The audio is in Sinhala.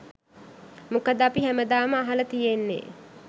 මොකද අපි හැමදාම අහලා තියෙන්නේ